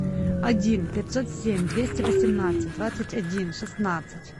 один пятьсот семь двести восемнадцать двадцать один шестнадцать